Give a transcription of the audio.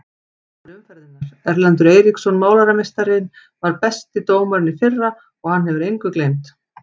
Dómari umferðarinnar: Erlendur Eiríksson Málarameistarinn var besti dómarinn í fyrra og hann hefur engu gleymt.